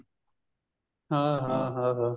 ਹਾਂ ਹਾਂ ਹਾਂ ਹਾਂ